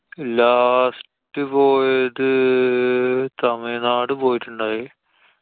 last പോയത്~ തമിഴ്നാട് പോയിട്ടുണ്ടായി.